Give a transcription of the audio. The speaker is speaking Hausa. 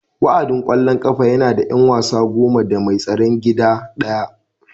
Wa'adin ƙwallon ƙafa yana da 'yan wasa goma da mai tsaron gida ɗaya